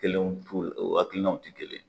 Kelenw fu o akilinanw te kelen ye